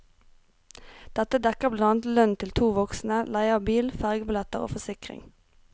Dette dekker blant annet lønn til to voksne, leie av bil, fergebilletter og forsikring.